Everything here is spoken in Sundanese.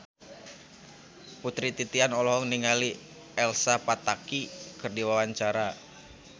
Putri Titian olohok ningali Elsa Pataky keur diwawancara